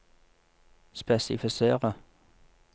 spesifisere